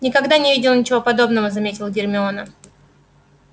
никогда не видела ничего подобного заметила гермиона